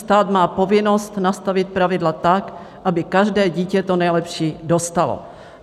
Stát má povinnost nastavit pravidla tak, aby každé dítě to nejlepší dostalo.